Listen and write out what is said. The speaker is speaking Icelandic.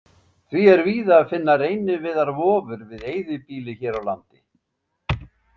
Því er víða að finna reyniviðarvofur við eyðibýli hér á landi.